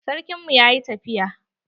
Sarkin mu yayi tafiya.